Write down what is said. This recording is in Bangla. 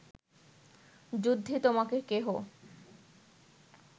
যুদ্ধে তোমাকে কেহ